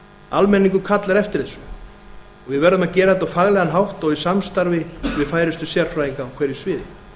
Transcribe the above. almenningur kallar eftir þessu og við verðum að gera þetta á faglegan hátt og í samstarfi við færustu sérfræðinga á hverju sviði